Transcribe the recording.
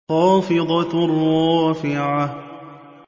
خَافِضَةٌ رَّافِعَةٌ